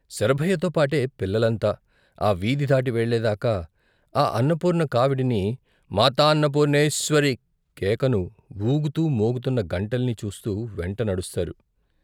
శరభయ్యతో పాటే పిల్లలంతా ఆ వీధి దాటి వెళ్ళేదాకా ఆ అన్నపూర్ణ కావిడిని, మాతాన్నపూర్ణేశ్వరీ కేకను, ఊగుతూ మోగుతున్న గంటల్ని చూస్తూ వెంట నడుస్తారు.